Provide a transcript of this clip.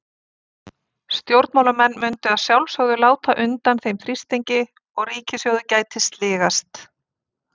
Stjórnmálamenn mundu að sjálfsögðu láta undan þeim þrýstingi og ríkissjóður gæti sligast.